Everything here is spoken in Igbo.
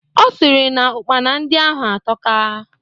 Ọ sịrị na Ụkpana ndị ahụ atọka